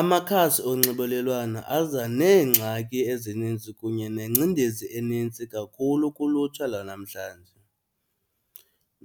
Amakhasi onxibelelwana aza neengxaki ezininzi kunye nengcendezi enintsi kakhulu kulutsha lwanamhlanje.